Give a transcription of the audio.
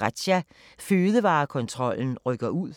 Razzia – Fødevarekontrollen rykker ud